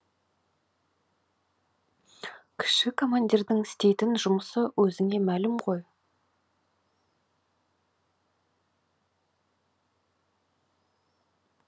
кіші командирдің істейтін жұмысы өзіңе мәлім ғой